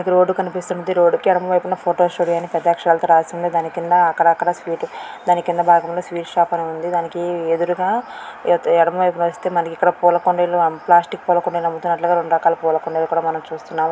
Road కనిపిస్తుంది. ఈ road కి ఎడమ వైపున ఫోటో స్టూడియో అని పెద్ద అక్షరాలతో రాసి ఉంది. దాని కింద అక్కడక్కడ స్వీట్ దాని కింద భాగంలో స్వీట్ షాప్ ఉంది. దానికి ఎదురుగా ఎడమవైపున వస్తే మనకిక్కడ పూలకుండీలు ప్లాస్టిక్ కుండీలు అమ్ముతున్నట్లుగా రెండు రకాల పూలకుండీలు మనం చూస్తున్నాం.